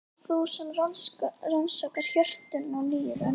Ó þú sem rannsakar hjörtun og nýrun.